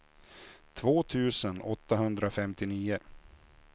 två tusen åttahundrafemtionio